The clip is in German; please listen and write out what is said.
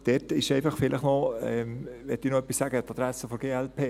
Dazu wollte ich noch etwas sagen an die Adresse der glp.